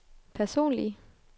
personlige